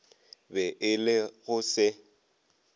be e le go se